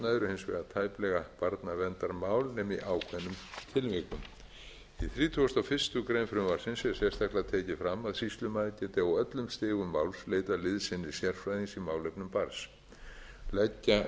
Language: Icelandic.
hins vegar tæplega barnaverndarmál nema í ákveðnum tilvikum í þrítugasta og fyrstu grein frumvarpsins er sérstaklega tekið fram að sýslumaður geti á öllum stigum máls leitað liðsinnis sérfræðings á málefnum barns leggja verður áherslu á